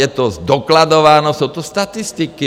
Je to zdokladováno, jsou tu statistiky.